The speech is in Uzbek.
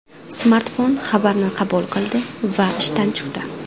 Smartfon xabarni qabul qildi va ishdan chiqdi.